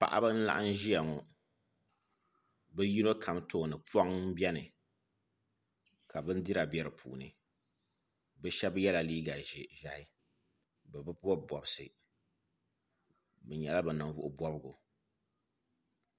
Paɣaba n laɣam ʒiya ŋo bi yino kam tooni poŋ n biɛni ka bindira bɛ di puuni bi shab yɛla liiga ʒiɛhi bi bi bob bobsu bi nyɛla bi ninvuɣu bobgu